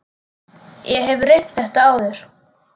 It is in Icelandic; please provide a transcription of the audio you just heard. Ég hef reynt þetta áður.